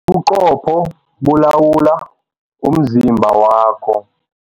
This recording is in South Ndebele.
Ubuqopho bulawula umzimba wakho.